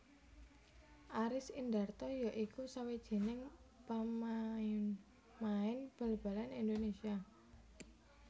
Aris Indarto ya iku sawijining pamainmain bal balan Indonésia